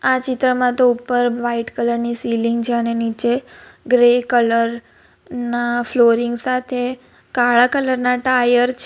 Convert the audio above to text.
આ ચિત્રમાં તો ઉપર વાઈટ કલરની સીલીંગ છે અને નીચે ગ્રે કલર ના ફ્લોરિંગ સાથે કાળા કલરના ટાયર છે.